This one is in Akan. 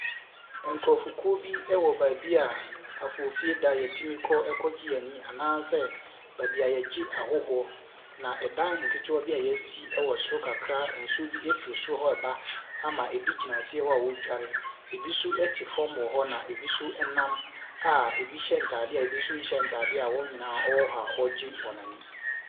Nkurofoɔ kuw bi ɛwɔ baabi a afoofida yɛtumi kɔ ɛkɔ gye yɛn ani anaa sɛ baabi a yɛgye ahɔhoɔ. Na ɛdan nketewa bi a yeasi ɛwɔ soro kakraa nsuo bi efiri soro hɔ ɛba ama ebi gyina aseɛ hɔ a wodware. Ebi so ɛte fam wɔ hɔ, na ebi nso ɛnam, a ebi hyɛ ntaade a ebi nso nhyɛ ntaade a wɔn nyinaa wɔwɔ hɔ wɔgye wɔn ani.